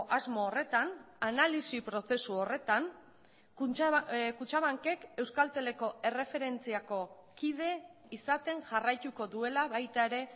asmo horretan analisi prozesu horretan kutxabankek euskalteleko erreferentziako kide izaten jarraituko duela baita ere